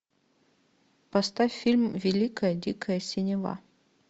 поставь фильм великая дикая синева